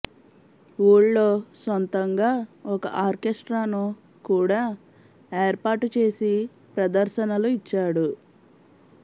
ఊళ్లో సొంతగా ఒక ఆర్కెస్ట్రాను కూడా ఏర్పాటు చేసి ప్రదర్శనలు ఇచ్చాడు